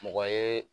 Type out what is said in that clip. Mɔgɔ ye